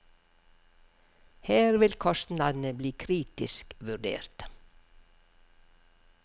Her vil kostnadene bli kritisk vurdert.